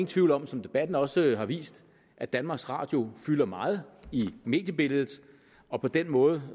tvivl om som debatten også har vist at danmarks radio fylder meget i mediebilledet og på den måde